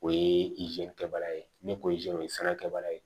O ye kɛbaga ye ne ko o ye sira kɛbaga ye